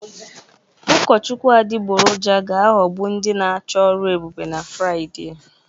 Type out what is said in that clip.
Ụkọchukwu adịgboroja ga-aghọgbu ndị na-achọ ọrụ ebube na Fraịde